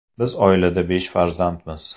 Biz oilada besh farzandmiz.